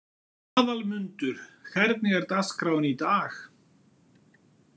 Aðalmundur, hvernig er dagskráin í dag?